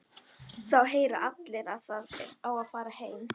Þá heyra allir að það á að fara heim.